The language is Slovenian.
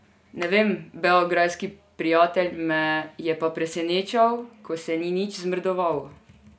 Ne vem, beograjski prijatelj me je pa presenečal, ko se ni nič zmrdoval.